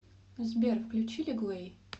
сбер включи лиглей